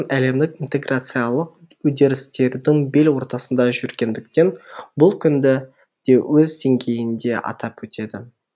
әлемдік интеграциялық үдерістердің бел ортасында жүргендіктен бұл күнді де өз деңгейінде атап өтеді